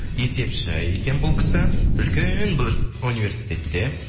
есепші екен бұл кісі үлкен университетте